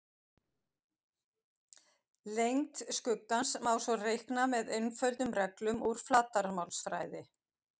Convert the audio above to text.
Lengd skuggans má svo reikna með einföldum reglum úr flatarmálsfræði.